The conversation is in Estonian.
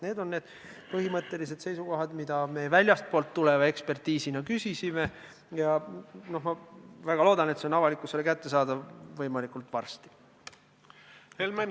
" Need on need põhimõttelised seisukohad, mida meie väljastpoolt ekspertiisina küsisime, ja ma väga loodan, et need saavad võimalikult varsti ka avalikkusele kättesaadavaks.